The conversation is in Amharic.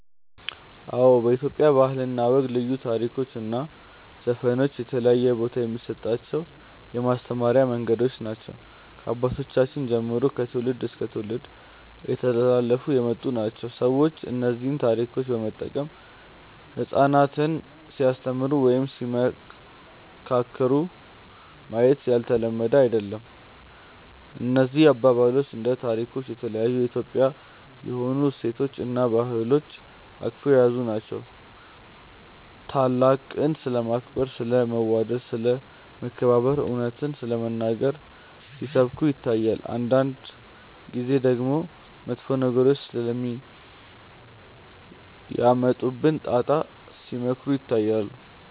አዎ በኢትዮጵያ ባህል እና ወግ ልዩ ታሪኮች እና ዘፈኖች የተለየ ቦታ የሚሰጣቸው የማስተማሪያ መንገዶች ናቸው። ከአባቶቻችን ጀምሮ ከትውልድ እስከ ትውልድ እየተላለፉ የመጡ ናቸው። ሰዎች እነዚህን ታሪኮች በመጠቀም ህጻናትን ሲያስተምሩ ወይም ሲመካከሩ ማየት ያልተለመደ አይደለም። እነዚህ አባባሎች እና ታሪኮች የተለያዩ የኢትዮጵያዊ የሆኑ እሴቶችን እና ባህሎችን አቅፈው የያዙ ናቸው። ታላቅን ስለማክበር፣ ስለ መዋደድ፣ ስለ መከባበር፣ እውነትን ስለመናገር ሲሰብኩ ይታያል። አንዳንድ ጊዜ ደግሞ መጥፎ ነገሮች ስለሚያመጡብን ጣጣ ሲመክሩ ይታያሉ።